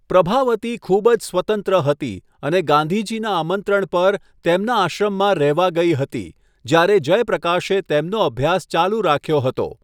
પ્રભાવતી ખૂબ જ સ્વતંત્ર હતી અને ગાંધીજીના આમંત્રણ પર, તેમના આશ્રમમાં રહેવા ગઈ હતી જ્યારે જયપ્રકાશે તેમનો અભ્યાસ ચાલુ રાખ્યો હતો.